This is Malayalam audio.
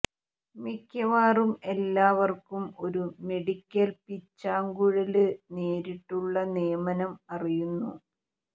മിക്കവാറും എല്ലാവർക്കും ഒരു മെഡിക്കൽ പീച്ചാങ്കുഴല് നേരിട്ടുള്ള നിയമനം അറിയുന്നു